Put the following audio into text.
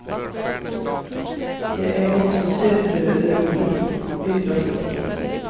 Det är också superroligt! utropstecken